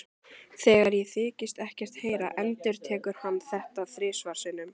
Þegar ég þykist ekkert heyra endurtekur hann þetta þrisvar sinnum.